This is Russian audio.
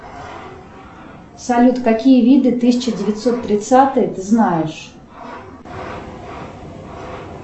салют какие виды тысяча девятьсот тридцатые ты знаешь